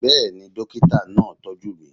Bẹ́ẹ̀ ni, dókítà náà á tọ́jú mi